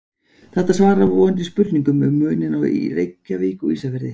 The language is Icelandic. Þetta svarar vonandi spurningunni um muninn á Reykjavík og Ísafirði.